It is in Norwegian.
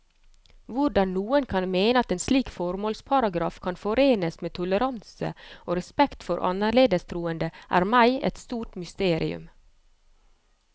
Hvordan noen kan mene at en slik formålsparagraf kan forenes med toleranse og respekt for annerledes troende, er meg et stort mysterium.